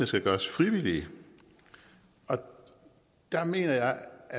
skal gøres frivillige og der mener